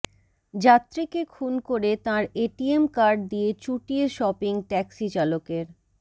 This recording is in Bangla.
যাত্রীকে খুন করে তাঁর এটিএম কার্ড দিয়ে চুটিয়ে শপিং ট্যাক্সি চালকের